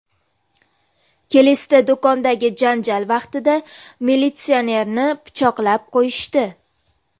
Kelesda do‘kondagi janjal vaqtida militsionerni pichoqlab qo‘yishdi.